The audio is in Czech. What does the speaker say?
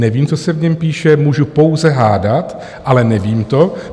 Nevím, co se v něm píše, můžu pouze hádat, ale nevím to.